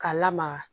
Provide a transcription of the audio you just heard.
K'a lamaga